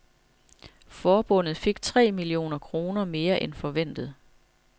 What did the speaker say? Forbundet fik tre millioner kroner mere end forventet.